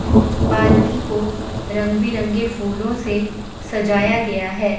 पालकी को रंग बिरंगे फूलों से सजाया गया है।